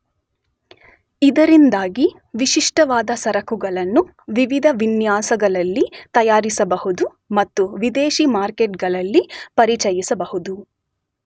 ಇದರಿಂದಾಗಿ ವಿಶಿಷ್ಟವಾದ ಸರಕುಗಳನ್ನು ವಿವಿಧ ವಿನ್ಯಾಸಗಳಲ್ಲಿ ತಯಾರಿಸಬಹುದು ಮತ್ತು ವಿದೇಶಿ ಮಾರುಕಟ್ಟೆಗಳಲ್ಲಿ ಪರಿಚಯಿಸಬಹುದು.